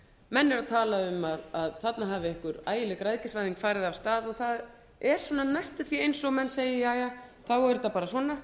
menn eru að tala um að þarna hafi einhver ægileg græðgisvæðing farið af stað og það er næstum því eins og menn segja þá er þetta bara svona